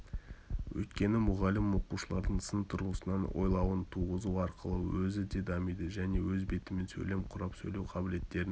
өйткені мұғалім оқушылардың сын тұрғысынан ойлауын туғызу арқылы өзі де дамиды және өз бетімен сөйлем құрап сөйлеу қабілеттерін